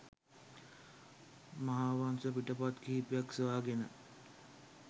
මහාවංස පිටපත් කිහිපයක් සොයාගෙන